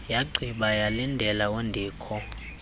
yagqiba yalindela undikho